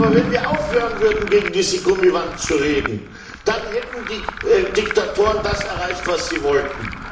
Aber wenn wir aufhören würden, gegen diese Gummiwand zu reden, dann hätten die Diktatoren das erreicht, was sie wollten.